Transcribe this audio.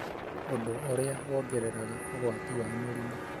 ũndũ ũrĩa wongereraga ũgwati wa mĩrimũ.